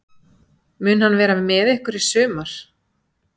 Mun hann vera með ykkur í sumar?